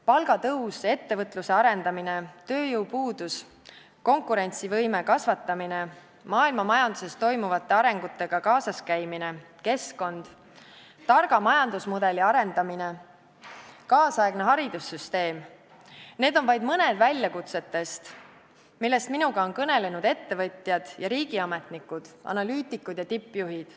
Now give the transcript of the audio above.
Palgatõus, ettevõtluse arendamine, tööjõupuudus, konkurentsivõime kasvatamine, maailmamajanduses toimuvate arengutega kaasas käimine, keskkond, targa majandusmudeli arendamine, kaasaegne haridussüsteem – need on vaid mõned väljakutsetest, millest minuga on kõnelenud ettevõtjad ja riigiametnikud, analüütikud ja tippjuhid.